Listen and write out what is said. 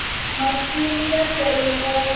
masimu ya tele ngopfu